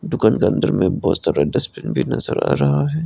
दुकान के अंदर में बहुत सारे डस्टबिन भी नजर आ रहा है।